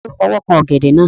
Ta ló fọwọ́ kan ọ̀gẹ̀dẹ̀ náà?